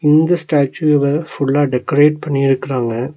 இந்த ஸ்டாச்சுவ ஃபுல்லா டெக்கரேட் பண்ணிருக்றாங்க.